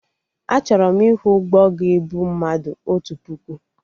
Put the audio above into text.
Achọrọ m ịhụ ụgbọ ga-ebu mmadụ otu puku